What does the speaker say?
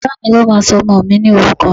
Bàbá mi ló máa sọmọ mi ní orúkọ